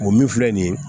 O min filɛ nin ye